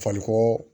Fakoo